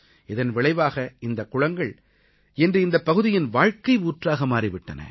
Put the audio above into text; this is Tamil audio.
இதன் விளைவாக இந்தக் குளங்கள் இன்று அந்தப் பகுதியின் வாழ்க்கை ஊற்றாக மாறி விட்டன